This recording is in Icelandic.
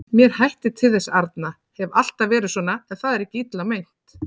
Mér hættir til þess arna, hef alltaf verið svona, en það er ekki illa meint.